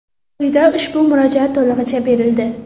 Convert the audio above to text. Quyida ushbu murojaat to‘lig‘icha berildi.